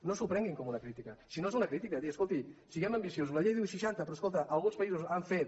no s’ho prenguin com una crítica si no és una crítica dir escolti siguem ambiciosos la llei diu seixanta però escolta alguns països han fet